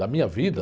Da minha vida?